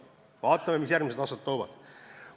Vaatame, mis järgmised aastad toovad.